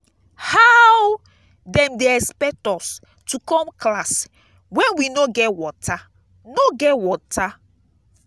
how dem dey expect us to come class wen we no get water no get water.